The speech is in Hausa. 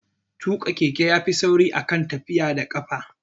Tuƙa keke ya fi sauri a kan tafiya da ƙafa